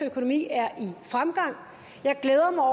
økonomi er i fremgang jeg glæder mig